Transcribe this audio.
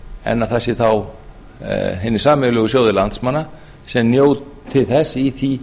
en að það séu þá hinir sameiginlegu sjóðir landsmanna sem njóti þess í því